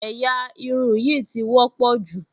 Ẹ̀yà irun yìí ti wọ́pọ̀ jù